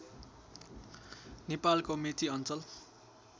नेपालको मेची अञ्चल